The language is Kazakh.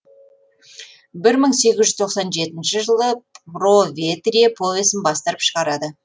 бір мың сегіз жүз тоқсан жетінші жылы броветрие повесін бастырып шығарады